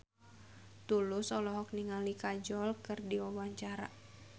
Tulus olohok ningali Kajol keur diwawancara